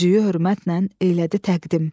Üzüyü hörmətnən eylədi təqdim.